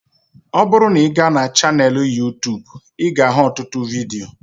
Ọ bụrụ na ị ga na chaneelụ Yuu-tuubu ị ga ahụ ọtụtụ vidio